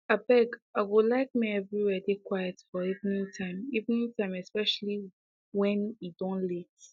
abeg i go like make everywhere dey quiet for evening time evening time especially wen e don late